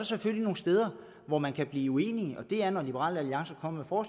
selvfølgelig nogle steder hvor man kan blive uenige og det er feks når liberal alliance kommer